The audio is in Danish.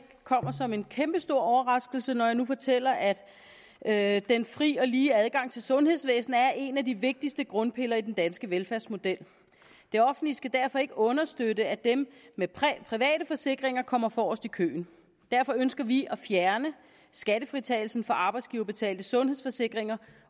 kommer som en kæmpeoverraskelse når jeg nu fortæller at at den frie og lige adgang til sundhedsvæsenet er en af de vigtigste grundpiller i den danske velfærdsmodel det offentlige skal derfor ikke understøtte at dem med private forsikringer kommer forrest i køen derfor ønsker vi at fjerne skattefritagelsen for arbejdsgiverbetalte sundhedsforsikringer